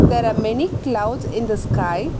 There are many clouds in the sky.